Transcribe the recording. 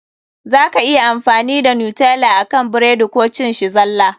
Za ka iya amfani da Nutella akan burodi Koh cin shi zalla.